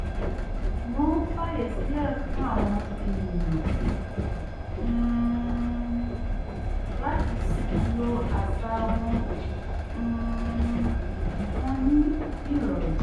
wọ́n fàyè sílẹ̀ fún àwọn ènìyàn um láti lo àṣà um wọn ní ìrọ̀rùn